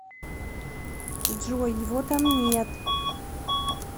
джой его там нет